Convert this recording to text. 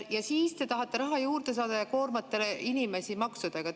Ja siis te tahate raha juurde saada ja koormate inimesi maksudega.